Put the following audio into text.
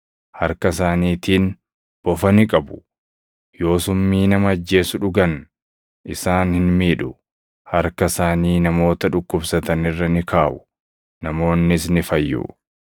harka isaaniitiin bofa ni qabu; yoo summii nama ajjeesu dhugan isaan hin miidhu; harka isaanii namoota dhukkubsatan irra ni kaaʼu; namoonnis ni fayyu.”